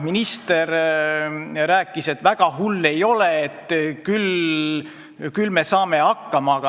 Minister rääkis, et väga hull ei ole, küll saame hakkama.